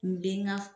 N den ŋa